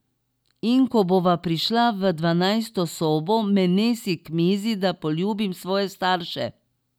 In ko bova prišla v dvanajsto sobo, me nesi k mizi, da poljubim svoje starše.